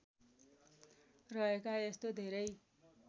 रहेका यस्तो धेरै